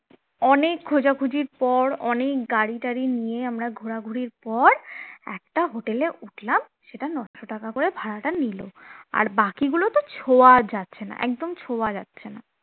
অনেক খোঁজাখুঁজির পর অনেক গাড়ি টারি নিয়ে আমরা ঘোরাঘুরির পর একটা hotel এ উঠলাম সেটা নয়শ টাকা করে ভাড়াটা নিল আর বাকিগুলো তো ছোঁয়ার যাচ্ছে না একদম ছোঁয়া যাচ্ছে না